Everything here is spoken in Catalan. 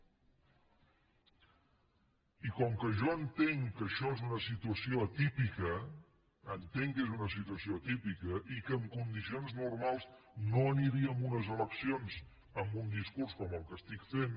i com que jo entenc que això és una situació atípica entenc que és una situació atípica i que en condicions normals no aniríem a unes eleccions amb un discurs com el que estic fent